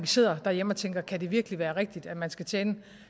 sidder derhjemme og tænker kan det virkelig være rigtigt at man skal tjene